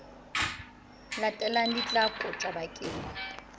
latelang di tla kotjwa bakeng